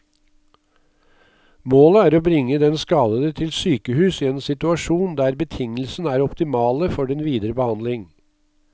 Målet er å bringe den skadede til sykehus i en situasjon der betingelsene er optimale for den videre behandling.